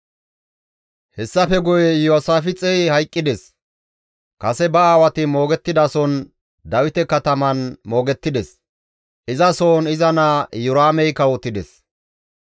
Hessafe guye Iyoosaafixey hayqqides; kase ba aawati moogettidason Dawite kataman moogettides; izasohon iza naa Iyoraamey kawotides.